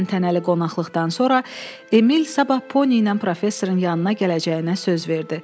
Təntənəli qonaqlıqdan sonra Emil sabah Pony ilə professorun yanına gələcəyinə söz verdi.